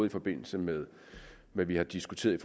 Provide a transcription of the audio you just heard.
i forbindelse med hvad vi har diskuteret i